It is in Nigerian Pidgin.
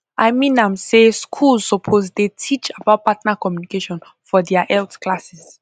i mean am say schools suppose dey teach about partner communication for their health classes